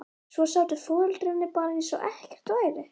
Svo sátu foreldrarnir bara eins og ekkert væri.